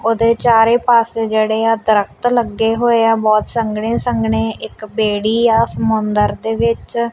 ਉਹਦੇ ਚਾਰੇ ਪਾਸੇ ਜਿਹੜੇ ਆ ਦਰਖਤ ਲੱਗੇ ਹੋਏ ਆ ਬਹੁਤ ਸੰਘਣੇ ਸੰਘਣੇ ਇੱਕ ਬੇੜੀ ਆ ਸਮੁੰਦਰ ਦੇ ਵਿੱਚ।